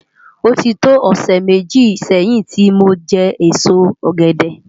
Oti tó òsè méji sèyin ti mó jè ésó ògèdè